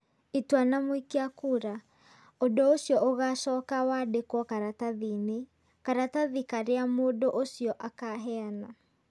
Itua na mũikia kura, ũndũ ũcio ũgaacoka wandĩkwo karatathi-inĩ. Karatathi karĩa mũndũ ũcio akaheana.